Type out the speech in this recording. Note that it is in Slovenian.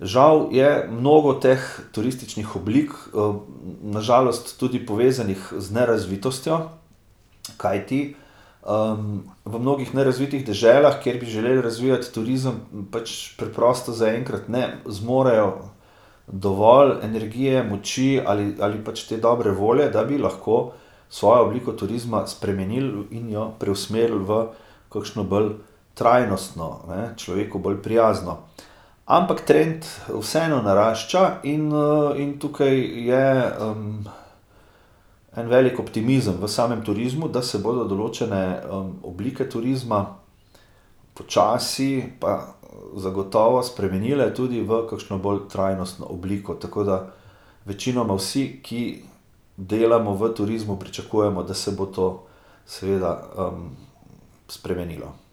Žal je mnogo teh turističnih oblik, na žalost tudi povezanih z nerazvitostjo. Kajti, v mnogih nerazvitih deželah, kjer bi želeli razvijati turizem, pač preprosto zaenkrat ne zmorejo dovolj energije, moči ali, ali pač te dobre volje, da bi lahko svojo obliko turizma spremenili in jo preusmerili v kakšno bolj trajnostno, ne. Človeku bolj prijazno. Ampak trend vseeno narašča in, in tukaj je, en velik optimizem v samem turizmu, da se bodo določene, oblike turizma počasi pa zagotovo spremenile tudi v kakšno bolj trajnostno obliko, tako da večinoma vsi, ki delamo v turizmu, pričakujemo, da se bo to seveda, spremenilo.